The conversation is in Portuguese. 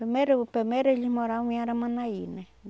Primeiro primeiro eles moravam em Aramanaí, né?